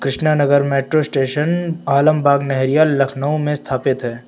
नगर metro station Alambagh Nahariya Lucknow में स्थापित है।